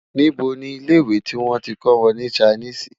níbo ní ilẹ ìwé tí wọn tí kò wọn ní Chinese?